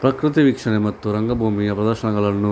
ಪ್ರಕೃತಿ ವೀಕ್ಷಣೆ ಮತ್ತು ರಂಗಭೂಮಿಯ ಪ್ರದರ್ಶನಗಳನ್ನು